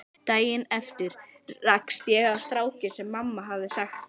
Daginn eftir rakst ég á strákinn sem mamma hafði sagt